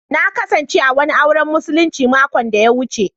Na kasance a wani auren musulinci makon da ya wuce.